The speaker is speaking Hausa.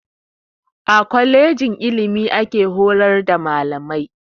A kwalejin ilimi ake horar da malamai